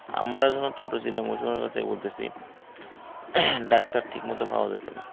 আমরা যখন ছোট ছিলাম ঐ সময়ের কথায় বলতেসি doctor ঠিক মতো পাওয়া যাইত না।